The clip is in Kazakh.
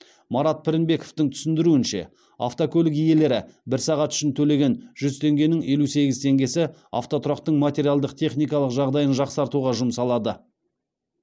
марат пірінбековтың түсіндіруінше автокөлік иелері бір сағат үшін төлеген жүз теңгенің елу сегіз теңгесі автотұрақтың материалдық техникалық жағдайын жақсартуға жұмсалады